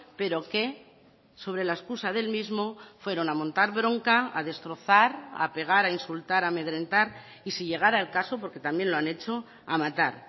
pero que sobre la excusa del mismo fueron a montar bronca a destrozar a pegar a insultar a amedrentar y si llegara el caso porque también lo han hecho a matar